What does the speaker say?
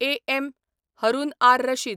A. M. Haroon R Rashid